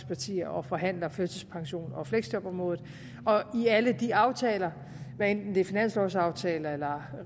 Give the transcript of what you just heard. partier og forhandler førtidspensions og fleksjobområdet og i alle de aftaler hvad enten det er finanslovaftaler